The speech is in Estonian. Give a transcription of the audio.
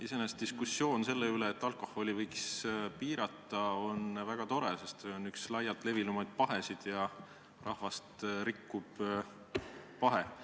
Iseenesest on diskussioon selle üle, et alkoholimüüki võiks piirata, väga tore, sest alkoholitarbimine on üks laiemalt levinud ja rahvast rikkuvaid pahesid.